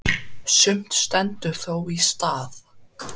Sumt stendur þó í stað.